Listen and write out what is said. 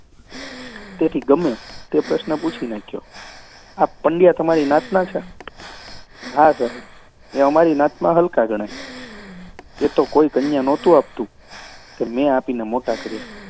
તેથી ગમે તે પ્રશ્ન પૂછી નાખ્યો આ પંડયા તમારી નાતના છે? હા, સાહેબ, એ અમારી નાતમાં હલકા ગણાય. એ તો કન્યા કોઈ નહોતું આપતું તે મેં આપીને મોટા કર્યા.